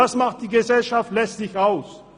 Das macht die Gesellschaft letztlich aus.